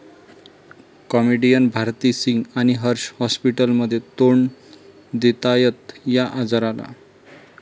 comedian Bharti Singh आणि हर्ष हाॅस्पिटलमध्ये, तोंड देतायत 'या' आजाराला